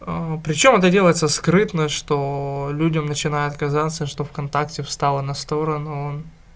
а причём это делаётся скрытно что людям начинает казаться что вконтакте встала на сторону